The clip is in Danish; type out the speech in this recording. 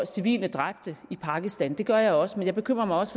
civile dræbte i pakistan det gør jeg også men jeg bekymrer mig også